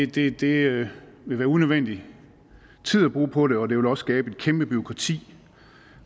det det vil være unødvendig tid at bruge på det og det vil også skabe et kæmpe bureaukrati